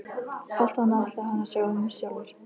Allt annað ætlaði hann að sjá um sjálfur.